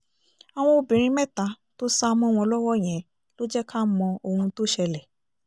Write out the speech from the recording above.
àwọn obìnrin mẹ́ta tó sá mọ́ wọn lọ́wọ́ yẹn ló jẹ́ ká mọ ohun tó ṣẹlẹ̀